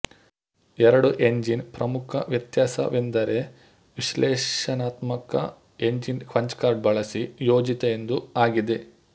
ಎರಡು ಎಂಜಿನ್ ಪ್ರಮುಖ ವ್ಯತ್ಯಾಸವೆಂದರೆ ವಿಶ್ಲೇಷಣಾತ್ಮಕ ಎಂಜಿನ್ ಪಂಚ್ ಕಾರ್ಡ್ ಬಳಸಿ ಯೋಜಿತ ಎಂದು ಆಗಿದೆ